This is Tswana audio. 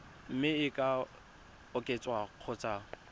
mme e ka oketswa kgotsa